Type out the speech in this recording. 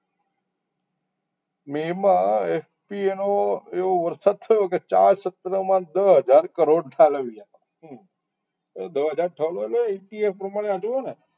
મે મા SPA નો એવો વરસાદ થયો કે ચાર સત્રમાં દસ હજાર કરોડ ઠાલવ્યા દસ હજાર ઠાલવીયા ઇતિહાસ પ્રમાણે જોવો ને